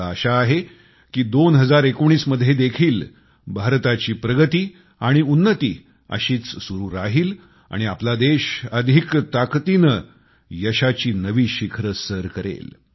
मला आशा आहे कि 2019 मध्ये देखील भारताची प्रगती आणि उन्नती अशीच सुरु राहील आणि आपला देश अधिक ताकदीने यशाची नवी शिखरं सर करेल